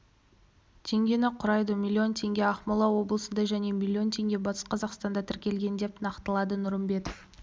теңгені құрайды млн теңге ақмола облысында және миллион теңге батыс қазақстанда тіркелген деп нақтылады нұрымбетов